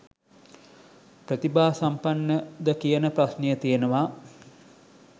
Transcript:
ප්‍රතිභා සම්පන්න ද කියන ප්‍රශ්නය තියෙනවා